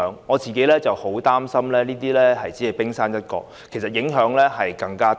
我個人十分擔心這只是冰山一角，真正的影響其實更大。